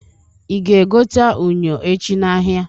Ị ga-egota unyo echi n'ahịa?